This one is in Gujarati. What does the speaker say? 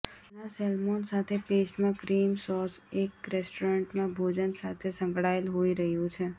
ઘણા સૅલ્મોન સાથે પેસ્ટ માં ક્રીમ સોસ એક રેસ્ટોરન્ટમાં ભોજન સાથે સંકળાયેલ હોઈ રહ્યું છે